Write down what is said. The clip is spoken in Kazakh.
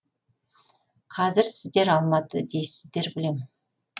қазір сіздер алматы дейсіздер білемін